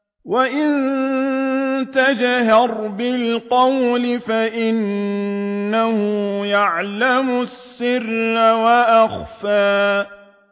وَإِن تَجْهَرْ بِالْقَوْلِ فَإِنَّهُ يَعْلَمُ السِّرَّ وَأَخْفَى